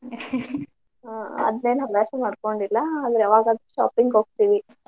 ಅದ್ನೇನ್ ಹವ್ಯಾಸ ಮಾಡ್ಕೊಂಡಿಲ್ಲ ಅದು ಯಾವಾಗಾದ್ರೂ shopping ಹೋಗ್ತಿವಿ.